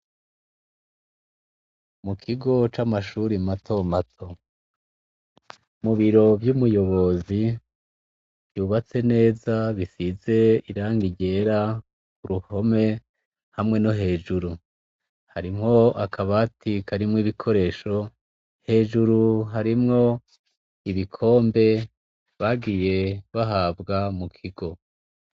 Ikigo camashure matomato, mubiro vyumuyobozi vyubatse neza risize irangi ryera kuruhome hamwe no hejuru. harimwo akabati karimw ibikoresho hejuru harimw ibikombe bagiye bahabwa mukigo.